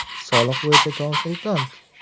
Soliq bo‘yicha konsultant.